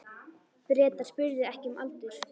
Bretar spurðu ekki um aldur.